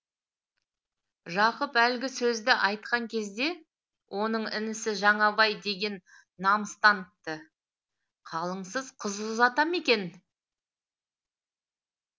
жақып әлгі сөзді айтқан кезде оның інісі жаңабай деген намыстаныпты қалыңсыз қыз ұзата ма екен